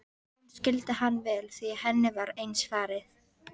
Hún skildi hann vel því henni var eins farið.